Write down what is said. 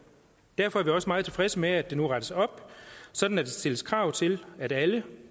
derfor er vi også meget tilfredse med at der nu rettes op så der stilles krav til at alle